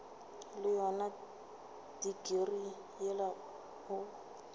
le yona tikirii yela o